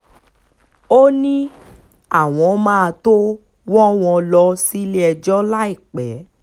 ó ní àwọn máa tóó wọ́ wọn lọ́ọ́ sílé-ẹjọ́ láìpẹ́